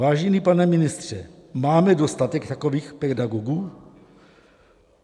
Vážený pane ministře, máme dostatek takových pedagogů?